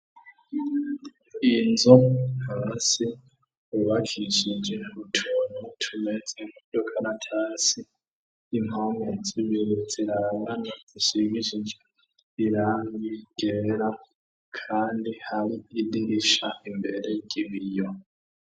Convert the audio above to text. Inzo nhaa se bubakishije utunu tumeze nkudokanatasi impamezimunutsi rarangana ishingisiijo rirangigerera, kandi hari iridinisha imbere gibiriyo.